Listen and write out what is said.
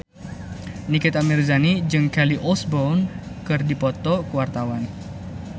Nikita Mirzani jeung Kelly Osbourne keur dipoto ku wartawan